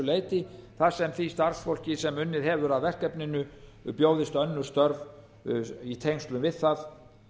leyti þar sem því starfsfólki sem unnið hefur að verkefninu bjóðist önnur störf í tengslum við það